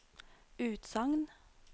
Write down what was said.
utsagn